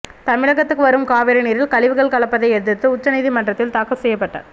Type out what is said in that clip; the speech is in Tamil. தமிழகத்துக்கு வரும் காவிரி நீரில் கழிவுகள் கலப்பதை எதிர்த்து உச்ச நீதிமன்றத்தில் தாக்கல் செய்யப்பட்ட